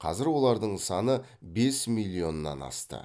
қазір олардың саны бес миллионнан асты